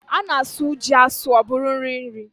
A na-asụ ji asụ ọ bụrụ nri ji.